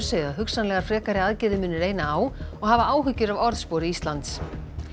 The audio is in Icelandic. segja að hugsanlegar frekari aðgerðir muni reyna á og hafa áhyggjur af orðspori Íslands